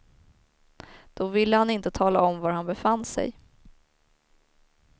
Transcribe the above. Då ville han inte tala om var han befann sig.